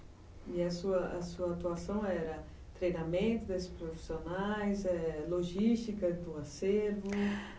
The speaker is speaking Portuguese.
E a sua atuação era treinamento dos profissionais, logística do acervo?